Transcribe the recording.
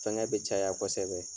Fɛngɛ bɛ caya kosɛbɛ.